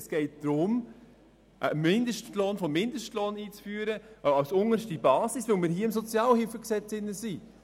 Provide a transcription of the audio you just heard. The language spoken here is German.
Es geht darum, einen Mindestlohn vom Mindestlohn als unterste Basis einzuführen, weil wir uns hier auf der Ebene des SHG befinden.